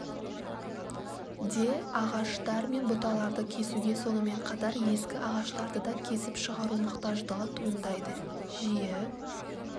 де ағаштар мен бұталарды кесуге сонымен қатар ескі ағаштарды да кесіп шығару мұқтаждығы туындайды жиі